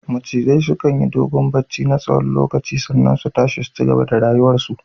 Macizai sukan yi dogon barci na tsawon lokaci sannan su tashi su cigaba da rayuwar su